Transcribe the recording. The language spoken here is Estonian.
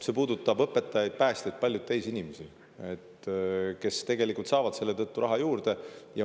See puudutab õpetajaid, päästjaid ja paljusid teisi inimesi, kes tegelikult saavad selle tõttu raha juurde.